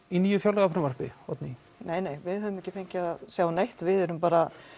í nýju fjárlagafrumvarpi Oddný nei nei við höfum ekki fengið að sjá neitt við erum bara